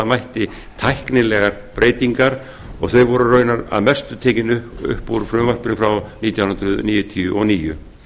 mætti tæknilegar breytingar og þau voru raunar að mestu tekin upp úr frumvarpinu frá nítján hundruð níutíu og níu